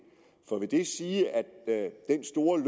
for vil det sige at er